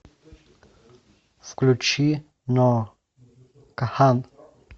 включи ноа кахан